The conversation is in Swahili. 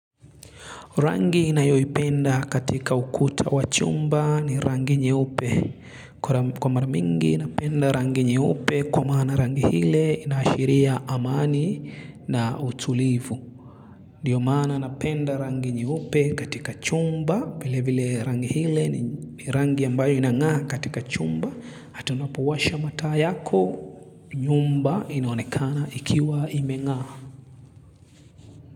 Rangi nayo ipenda katika ukuta wa chumba ni rangi nyeupe kwa mara mingi napenda rangi nyeupe kwa maana rangi hile inaashiria amani na utulivu ndiyo maana napenda rangi nyeupe katika chumba vile vile rangi hile ni rangi ambayo inang'aa katika chumba hata unapowasha mataa yako nyumba inonekana ikiwa imeng'aa.